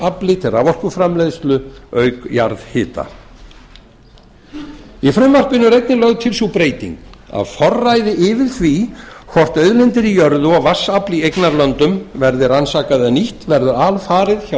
vatnsafli til raforkuframleiðslu auk jarðhita í frumvarpinu er einnig lögð til sú breyting að forræði yfir því hvort auðlindir í jörðu og vatnsafl í eignarlöndum verði rannsakað eða nýtt verði alfarið hjá